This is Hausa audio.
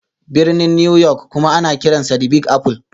Birnin New York kuma ana kiransa 'The Big Apple'.